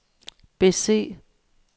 bese